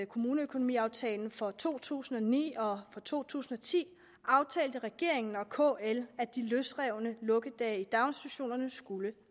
kommuneøkonomiaftalen for to tusind og ni og to tusind og ti aftalte regeringen og kl at de løsrevne lukkedage i daginstitutionerne skulle